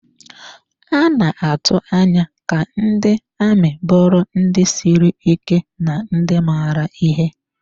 A na-atụ anya ka ndị amị bụrụ ndị siri ike na ndị maara ihe.